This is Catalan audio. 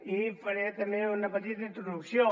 i faré també una petita introducció